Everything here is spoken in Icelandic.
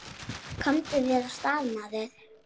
Komdu þér af stað, maður!